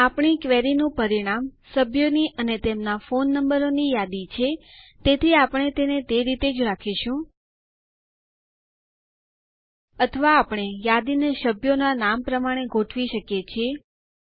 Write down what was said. આપણી ક્વેરીનું પરિણામ સભ્યોની અને તેમના ફોન નંબરો ની યાદી છે તેથી આપણે તેને તે રીતે જ રાખીશું અથવા આપણે યાદીને સભ્યોના નામ પ્રમાણે ગોઠવી શકીએ છીએ